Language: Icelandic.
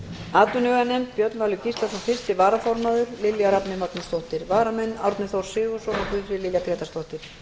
atvinnuveganefnd björn valur gíslason fyrsti varaformaður og lilja rafney magnúsdóttir varamenn eru árni þór sigurðsson og guðfríður lilja grétarsdóttir